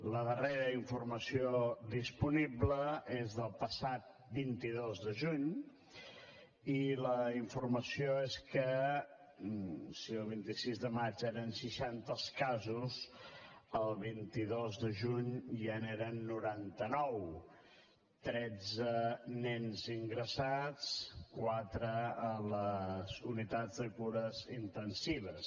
la darrera informació disponible és del passat vint dos de juny i la informació és que si el vint sis de maig eren seixanta els casos el vint dos de juny ja n’eren noranta nou tretze nens ingressats quatre a les unitats de cures intensives